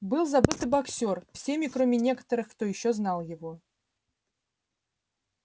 был забыт и боксёр всеми кроме некоторых кто ещё знал его